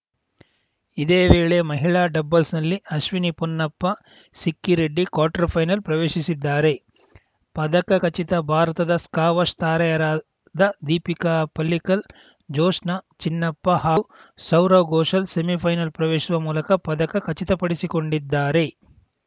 ಇದೇ ವೇಳೆ ಮಹಿಳಾ ಡಬಲ್ಸ್‌ನಲ್ಲಿ ಅಶ್ವಿನಿ ಪೊನ್ನಪ್ಪಸಿಕ್ಕಿ ರೆಡ್ಡಿ ಕ್ವಾರ್ಟರ್‌ ಫೈನಲ್‌ ಪ್ರವೇಶಿಸಿದ್ದಾರೆ ಪದಕ ಖಚಿತ ಭಾರತದ ಸ್ಕಾವಶ್‌ ತಾರೆಯರಾದ ದೀಪಿಕಾ ಪಲ್ಲಿಕಲ್‌ ಜೋಶ್ನಾ ಚಿನ್ನಪ್ಪ ಹಾಗೂ ಸೌರವ್‌ ಘೋಷಾಲ್‌ ಸೆಮಿಫೈನಲ್‌ ಪ್ರವೇಶಿಸುವ ಮೂಲಕ ಪದಕ ಖಚಿತಪಡಿಸಿಕೊಂಡಿದ್ದಾರೆ